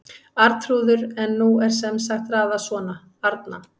Arnþrúður en nú er sem sagt raðað svona: Arna